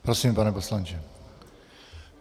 Prosím, pane poslanče.